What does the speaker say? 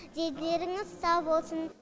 дендеріңіз сау болсын